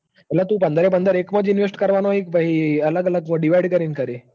એટલે તું પંદર એ પંદર એકમોજ કરવાનો હિક પછી અલગ અલગ મોં કરીન કરે.